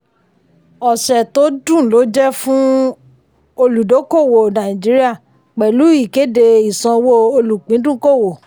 ọ̀sẹ̀ to dùn lo jẹ́ fún olùdókòwò nàìjíríà pẹ̀lú ìkede ìsanwó olùpìndùnkòwò.